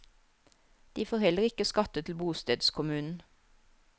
De får heller ikke skatte til bostedskommunen.